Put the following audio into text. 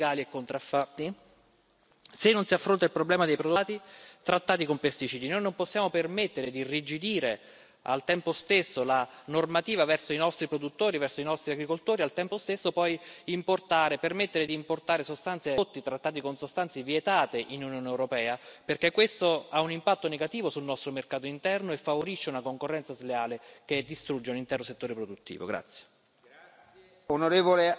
Se non si combatte la pratica dei pesticidi illegali e contraffatti, se non si affronta il problema dei prodotti importati trattati con pesticidi, noi non possiamo permettere di irrigidire al tempo stesso la normativa verso i nostri produttori, verso i nostri agricoltori, e al tempo stesso poi permettere di importare prodotti trattati con sostanze vietate in Unione europea, perché questo ha un impatto negativo sul nostro mercato interno e favorisce una concorrenza sleale che distrugge un intero settore produttivo.